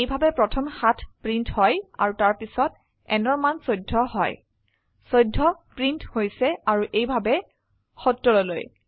এইভাবে প্ৰথম 7 প্ৰিন্ট হয় আৰু তাৰ পিছত n অৰ মান 14 হয় 14 প্ৰিন্ট হৈছে আৰু এইভাবে 70 লৈ